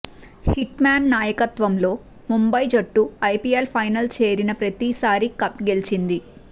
hit man నాయకత్వంలో ముంబై జట్టు IPL final చేరిన ప్రతిసారి కప్ గెలిచింది